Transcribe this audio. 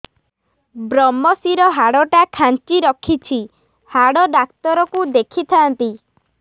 ଵ୍ରମଶିର ହାଡ଼ ଟା ଖାନ୍ଚି ରଖିଛି ହାଡ଼ ଡାକ୍ତର କୁ ଦେଖିଥାନ୍ତି